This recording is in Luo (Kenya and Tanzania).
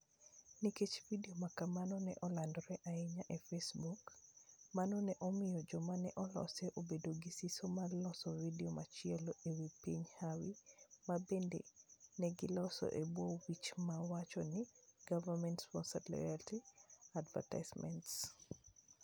Nikech vidio ma kamano ne olandore ahinya e Facebook, mano ne omiyo joma ne olose obedo gi siso mar loso vidio machielo e wi piny Hawai'i, ma bende ne giloso e bwo wich ma wacho ni "Government Sponsored Loyalty Advertisements".